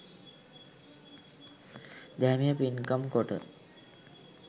දැහැමිව පින්කම් කොට